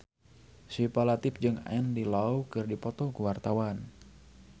Syifa Latief jeung Andy Lau keur dipoto ku wartawan